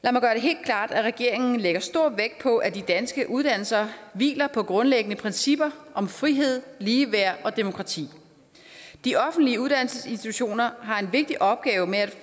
lad regeringen lægger stor vægt på at de danske uddannelser hviler på grundlæggende principper om frihed ligeværd og demokrati de offentlige uddannelsesinstitutioner har en vigtig opgave med